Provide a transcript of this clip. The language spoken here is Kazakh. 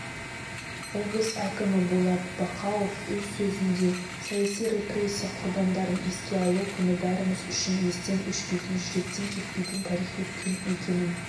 облыс әкімі болат бақауов өз сөзінде саяси репрессия құрбандарын еске алу күні бәріміз үшін естен өшпейтін жүректен кетпейтін тарихи күн екенін